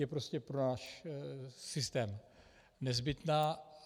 Je prostě pro náš systém nezbytná.